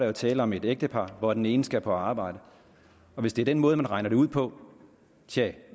er tale om et ægtepar og den ene skal på arbejde hvis det er den måde man regner det ud på tja